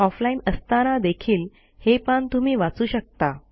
offline असताना देखील हे पान तुम्ही वाचू शकता